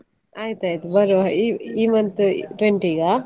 ಆಯ್ತಾಯ್ತು ಬರ್ವಾ, ಈ ಈ month twenty ಗಾ?